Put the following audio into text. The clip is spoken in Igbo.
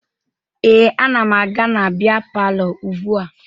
Ee, ana m aga na bịa palọ ugbua